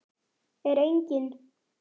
Er enginn?